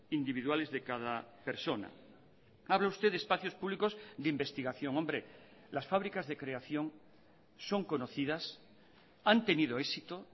individuales de cada persona habla usted de espacios públicos de investigación hombre las fábricas de creación son conocidas han tenido éxito